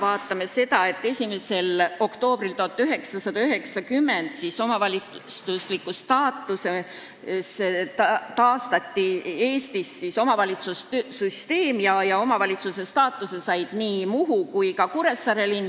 Aga lähtuda võib ka 1. oktoobrist 1990, kui Eestis taastati omavalitsussüsteem ja omavalitsuse staatuse said nii Muhu kui ka Kuressaare linn.